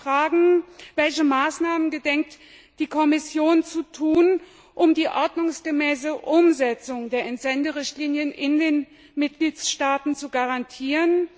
Meine Fragen Welche Maßnahmen gedenkt die Kommission zu ergreifen, um die ordnungsgemäße Umsetzung der Entsenderichtlinie in den Mitgliedstaaten zu garantieren?